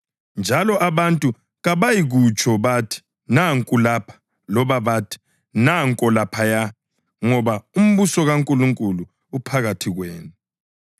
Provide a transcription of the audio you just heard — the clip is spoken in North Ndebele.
njalo abantu kabayikutsho bathi, ‘Nanku lapha,’ loba bathi, ‘Nanko laphaya,’ ngoba umbuso kaNkulunkulu uphakathi kwenu.”